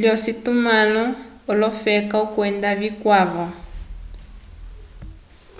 lyocitumãlo olofela kwenda vikwavo